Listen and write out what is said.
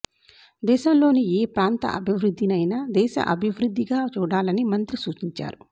దేశంలోని ఏ ప్రాంత అభివృద్ధినైనా దేశ అభివృద్ధిగా చూడాలని మంత్రి సూచించారు